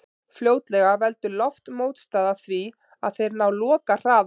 Fljótlega veldur loftmótstaða því að þeir ná lokahraða.